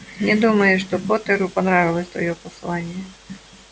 не думаю что поттеру понравилось твоё послание